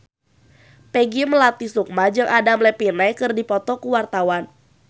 Peggy Melati Sukma jeung Adam Levine keur dipoto ku wartawan